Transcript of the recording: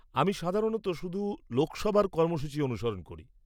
আমি সাধারণত শুধু লোকসভার কর্মসূচী অনুসরণ করি।